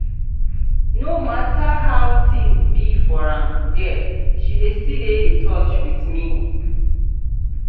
no mata how tins be for am there she dey still dey in touch with me.